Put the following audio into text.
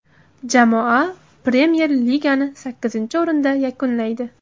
Jamoa Premyer Ligani sakkizinchi o‘rinda yakunlaydi.